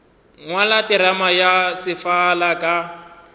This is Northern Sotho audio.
ngwala terama ya sefala ka